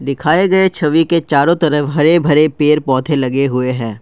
दिखाए गए छवि के चारों तरफ हरे भरे पेड़ पौधे लगे हुए हैं।